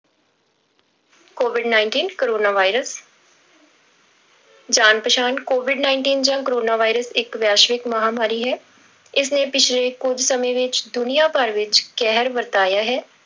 covid nineteen corona virus ਜਾਣ ਪਛਾਣ covid nineteen ਜਾਂ ਕੋਰੋਨਾ virus ਇੱਕ ਵੈਸ਼ਵਿਕ ਮਹਾਂਮਾਰੀ ਹੈ, ਇਸਨੇ ਪਿੱਛਲੇ ਕੁੱਝ ਸਮੇਂ ਵਿੱਚ ਦੁਨੀਆਂ ਭਰ ਵਿੱਚ ਕਹਿਰ ਵਰਤਾਇਆ ਹੈ।